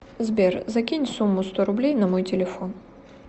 сбер закинь сумму сто рублей на мой телефон